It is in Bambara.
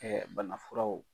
Bana furaw